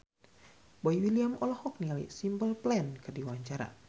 Boy William olohok ningali Simple Plan keur diwawancara